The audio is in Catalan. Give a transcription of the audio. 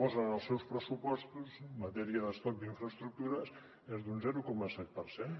posen en els seus pressupostos en matèria d’estoc d’infraestructures és d’un zero coma set per cent